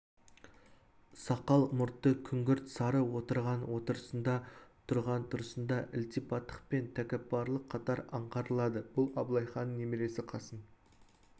сақал-мұрты күңгірт сары отырған отырысында тұрған тұрысында ілтипаттық пен тәкаппарлық қатар аңғарылады бұл абылайханның немересі қасым